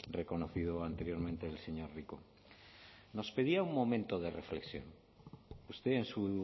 reconocido anteriormente el señor rico nos pedía un momento de reflexión usted en su